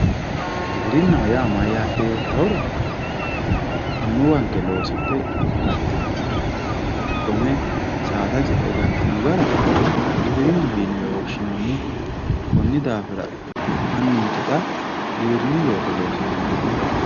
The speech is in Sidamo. Giwirinna yaa mayate yoottahura annuwanke loosidhe galtinoha hakkone saada ce"e galtino gara giwirinaho yinnewe woshshinanni konni daafira anninke xa giwirinu looso loosiranni no.